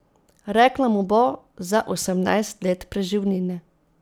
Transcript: Rekla mu bo za osemnajst let preživnine.